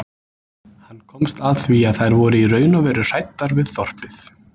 Hann komst að því að þær voru í raun og veru hræddar við þorpið.